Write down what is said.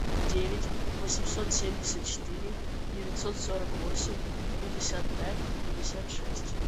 девять восемьсот семьдесят четыре девятьсот сорок восемь пятьдесят пять пятьдесят шесть